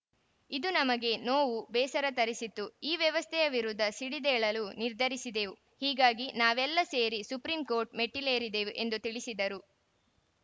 ಇದು ನಮಗೆ ನೋವು ಬೇಸರ ತರಿಸಿತು ಈ ವ್ಯವಸ್ಥೆಯ ವಿರುದ್ಧ ಸಿಡಿದೇಳಲು ನಿರ್ಧರಿಸಿದೆವು ಹೀಗಾಗಿ ನಾವೆಲ್ಲ ಸೇರಿ ಸುಪ್ರೀಂ ಕೋರ್ಟ್‌ ಮೆಟ್ಟಿಲೇರಿದೆವು ಎಂದು ತಿಳಿಸಿದರು